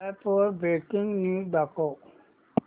app वर breaking news दाखव